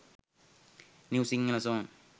new sinhala song